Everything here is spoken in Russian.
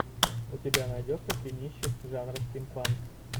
у тебя найдется кинище жанра стимпанк